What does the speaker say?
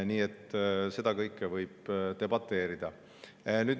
Nii et kõige selle üle võib debateerida.